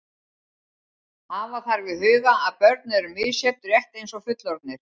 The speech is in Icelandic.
Hafa þarf í huga að börn eru misjöfn rétt eins og fullorðnir.